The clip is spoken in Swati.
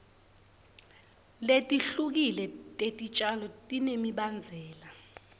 letihlukile tetitjalo tinemibandzela